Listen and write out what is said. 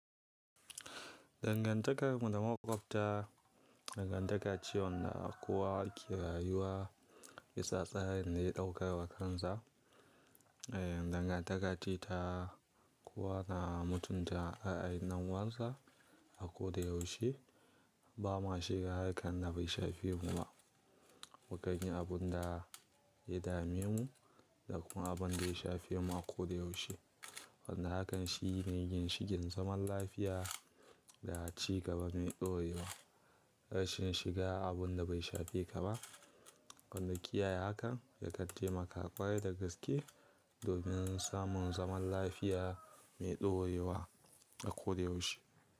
Dangantakar mu da mahaukata, dangantaka ce wanda kowa ke rayuwa, bisa tsarin da ya ɗauka wa kansa. Eh, dangantaka ce ta, kowa na mutunta a'a ƴan uwansa, a ko da yaushe. Ba ma shiga harkan da bai shafe mu ba. Mu kanyi abun da ya dame mu, da kuma abun da ya shafe mu a ko da yaushe. Wanda hakan shi ne ginshiƙin zaman lafiya, da a ci gaba mai ɗorewa. Rashin shiga abun da bai shafe ka ba, wanda kiyaye hakan, yakan taimaka ƙwarai da gaske, domin samun zaman lafiya mai ɗorewa a ko da yaushe.